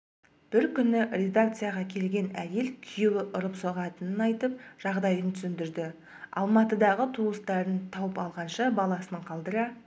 бір күні редакцияға келген әйел күйеуі ұрып-соғатынын айтып жағдайын түсіндірді алматыдағы туыстарын тауып алғанша баласын қалдыра